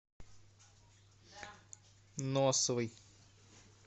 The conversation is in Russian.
носовой